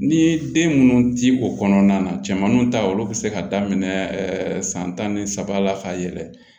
Ni den minnu ti o kɔnɔna na cɛmannu ta olu be se ka daminɛ san tan ni saba la ka yɛlɛ